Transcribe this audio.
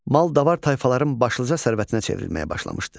Mal-davar tayfaların başlıca sərvətinə çevrilməyə başlamışdı.